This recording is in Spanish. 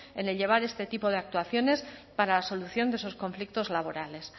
en el llevar este tipo de actuaciones para la solución de esos conflictos laborales